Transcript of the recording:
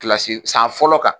Kilasi san fɔlɔ kan.